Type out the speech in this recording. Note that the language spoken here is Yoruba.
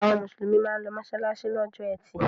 Àwọn Mùsùlùmí máa ń lọ mọ́ṣáláṣí lọ́jọ́ ẹtì